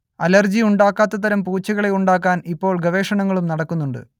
allergy ഉണ്ടാക്കാത്തതരം പൂച്ചകളെ ഉണ്ടാക്കാൻ ഇപ്പോൾ ഗവേഷണങ്ങളും നടക്കുന്നുണ്ട്